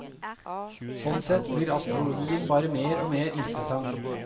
Sånn sett blir astrologien bare mer og mer interessant.